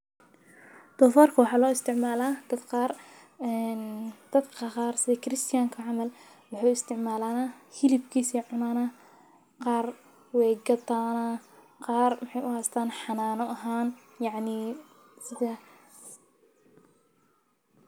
Dofarka waxa lo isticmala kiristanka camal hilibkisa ayey cunana qar wey gatana qar waxee u hastan canan ahan yacni sidha.